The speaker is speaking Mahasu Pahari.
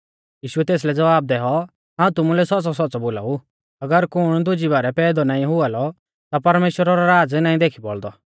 यीशुऐ तेसलै ज़वाब दैऔ हाऊं तुमुलै सौच़्च़ौसौच़्च़ौ बोलाऊ अगर कुण दुजी बारै पैदौ नाईं हुआ लौ ता परमेश्‍वरा रौ राज़ नाईं देखी बौल़दौ